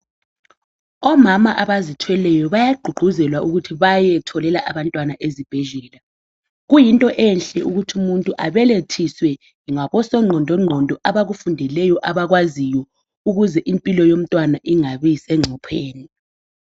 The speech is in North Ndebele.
Omama abazithweleyo bayagqugquzelwa ukuthi bayetholela abantwana ezibhedlela. Kuyinto enhle ukuthi umuntu abelethiswe ngabosongqondongqondo abakufundelayo abakwaziyo ukuze impilo yomntwana ingabi sencopheni